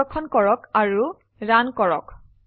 সংরক্ষণ করে রান করুন